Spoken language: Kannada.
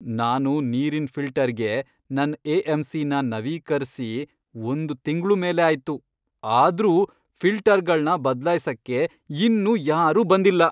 ನಾನು ನೀರಿನ್ ಫಿಲ್ಟರ್ಗೆ ನನ್ ಎ.ಎಂ.ಸಿ.ನ ನವೀಕರ್ಸಿ ಒಂದ್ ತಿಂಗ್ಳು ಮೇಲೇ ಆಯ್ತು, ಆದ್ರೂ ಫಿಲ್ಟರ್ಗಳ್ನ ಬದ್ಲಾಯ್ಸಕ್ಕೆ ಇನ್ನೂ ಯಾರೂ ಬಂದಿಲ್ಲ.